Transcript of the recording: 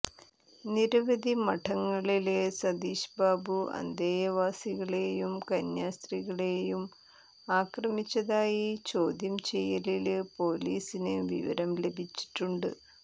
നിരവധി മഠങ്ങളില് സതീശ് ബാബു അന്തേവാസികളെയും കന്യാസ്ത്രീകളെയും ആക്രമിച്ചതായി ചോദ്യം ചെയ്യലില് പോലീസിന് വിവരം ലഭിച്ചിട്ടുണ്ട്